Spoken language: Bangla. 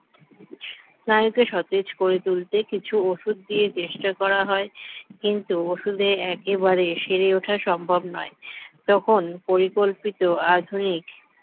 স্নায়ুকে সতেজ করে তুলতে কিছু ওষুধ দিয়ে চেষ্টা করা হয় কিন্তু ওষুধে একেবারে সেরে ওঠা সম্ভব নয় তখন পরিকল্পিত আধুনিক